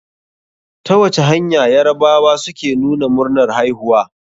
Ta wace hanya yarabawa suke nuna murnar haihuwa?